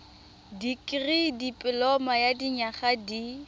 dikirii dipoloma ya dinyaga di